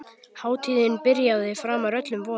Hátíðin byrjaði framar öllum vonum.